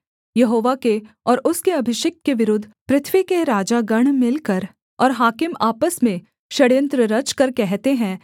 यहोवा के और उसके अभिषिक्त के विरुद्ध पृथ्वी के राजागण मिलकर और हाकिम आपस में षड्‍यंत्र रचकर कहते हैं